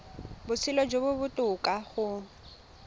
botshelo jo bo botoka go